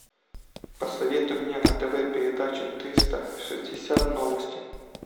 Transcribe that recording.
посоветуй мне на тв передачу триста шестьдесят новости